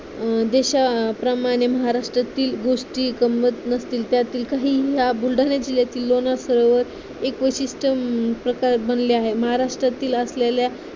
देशाप्रमाणे महाराष्ट्रातील गोष्टी गंम्मत नसतील त्यातील काही ह्या बुलढाण्यातील येथील लोणार सरोवर एक विशिष्ट प्रकार बनले आहे. महाराष्ट्रातील असलेल्या